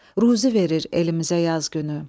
Ruzi verir elimizə yaz günü.